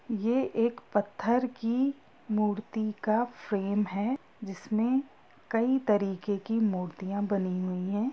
ये एक पत्थर की मूर्ति का फ्रेम है जिसमें कई तरीके की मूर्तियां बनी हुई है।